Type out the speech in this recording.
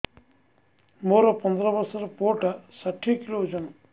ମୋର ପନ୍ଦର ଵର୍ଷର ପୁଅ ଟା ଷାଠିଏ କିଲୋ ଅଜନ